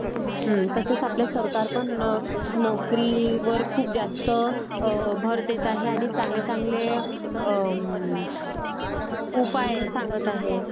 तसेच आपले सरकार पण नोकरीवर खूप जास्त भर देत आहे आणि चांगले चांगले उपाय सांगत आहे.